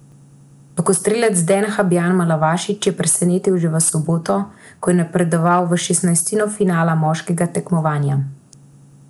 Lokostrelec Den Habjan Malavašič je presenetil že v soboto, ko je napredoval v šestnajstino finala moškega tekmovanja.